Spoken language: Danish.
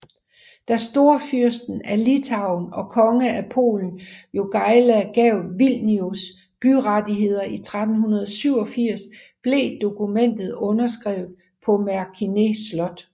Da Storfyrsten af Litauen og konge af Polen Jogaila gav Vilnius byrettigheder i 1387 blev dokumentet underskrevet på Merkinė slot